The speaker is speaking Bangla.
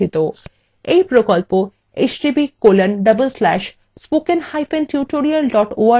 এই প্রকল্প